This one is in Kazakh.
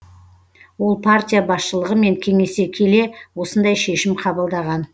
ол партия басшылығымен кеңесе келе осындай шешім қабылдаған